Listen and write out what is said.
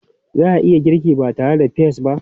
Za a iya girki ba tare da peas ba?